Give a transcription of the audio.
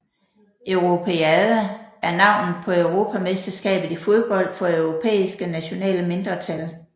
Europeada er navnet på europamesterskabet i fodbold for europæiske nationale mindretal